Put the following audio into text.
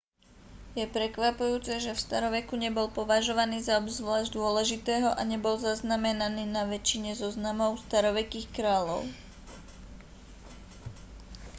je prekvapujúce že v staroveku nebol považovaný za obzvlášť dôležitého a nebol zaznamenaný na väčšine zoznamov starovekých kráľov